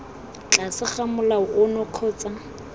tlase ga molao ono kgotsa